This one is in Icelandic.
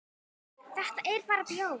Þetta er bara bjór.